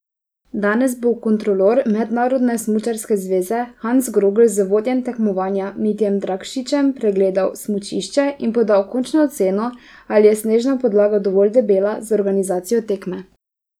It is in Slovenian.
Danes bo kontrolor Mednarodne smučarske zveze Hans Grogl z vodjem tekmovanja Mitjem Dragšičem pregledal smučišče in podal končno oceno, ali je snežna podlaga dovolj debela za organizacijo tekme.